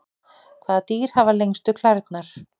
hvaða dýr hafa lengstu klærnar